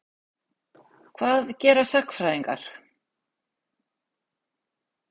Hvað gera sagnfræðingar?